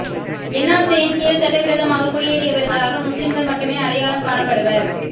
என்ஆா்சியின் கீழ் சட்டவிரோதமாகக் குடியேறியவா்களாக முஸ்லிம்கள் மட்டுமே அடையாளம் காணப்படுவா்